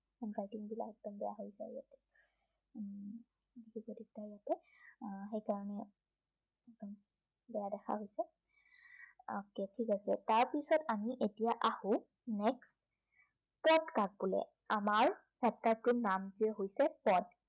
আহ সেইকাৰনে উম বেয়া দেখা হৈছে okay ঠিক আছে, তাৰপিছত আমি আহো next পদ কাক বোলে। আমাৰ chapter টোৰ নামটোৱেই হৈছে পদ